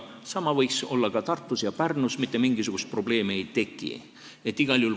Sama võiks toimuda ka Tartus ja Pärnus, mitte mingisugust probleemi ei tekiks.